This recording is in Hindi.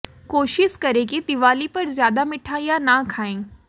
कोशिश करें कि दिवाली पर ज्यादा मिठाइयां ना खाएं